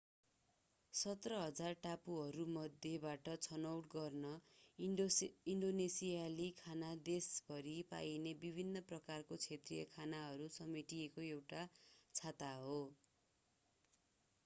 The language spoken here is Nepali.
17,000 टापुहरूमध्येबाट छनौट गर्न ईन्डोनेसियाली खाना देशभरि पाइने विभिन्न प्रकारका क्षेत्रीय खानाहरू समेटिएको एउटा छाता हो